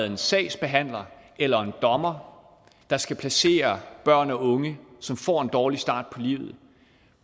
en sagsbehandler eller en dommer der skal placere børn og unge som får en dårlig start